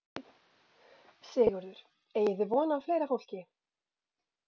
Sigurður: Eigið þið vona á fleira fólki?